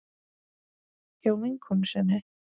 Hjá vinkonu sinni?